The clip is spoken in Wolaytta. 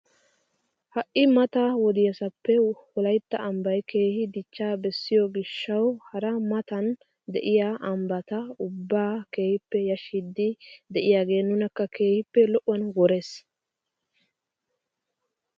Ha'i maata wodiyaasappe wolaytta ambbay keehi dichchaa beessiyoo gishshawu hara matan de'iyaa ambbata ubbaa keehippe yashshiidi de'iyaage nunakka keehippe lo'uwaan worees!